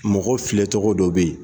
Mɔgɔ filɛ tɔgɔ dɔ bɛ yen